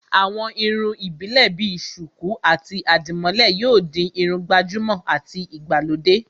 àwọn irun ìbílè bi sùkú àti àdìmólẹ̀ yóò di Irun gbàjúmọ̀ àti ìgbàlódé